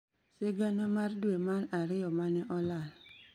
Sigana mar Dwe mar Ariyo ma ne Olal